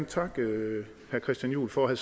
takke herre christian juhl for at